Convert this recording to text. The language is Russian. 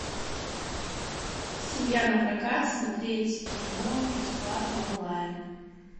семья напрокат смотреть кино бесплатно онлайн